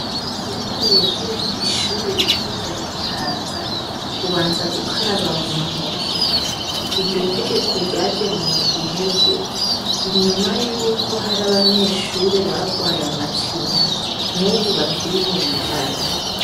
Kugira winjire kwishure riķuru ryagitaza, ubanza gukaraba muntoki, iryo tegeko ryaje mundwi iheze inyuma yuko har'abanyeshure barwaye amacinya n'ubu bakiri mubitaro .